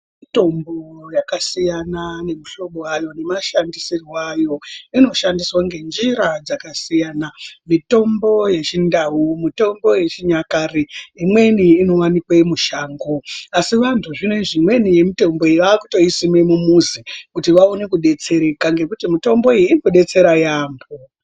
Mutombo yakasiyana nemuhlobo wayo nemashandisirwe ayo inoshandiswa ngenjira dzakasiyana mitombo yechindau mutombo yechinyakare imweni inowanikwe mushango asi vantu zvinezvi imweni yemutombo iyi vakutoisime mumuzi kuti vaone kudetsereka ngekuti mitombo iyi inodetsera yaampo.